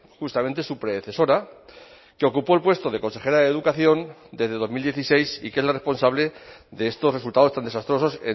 justamente su predecesora que ocupó el puesto de consejera de educación desde dos mil dieciséis y que es la responsable de estos resultados tan desastrosos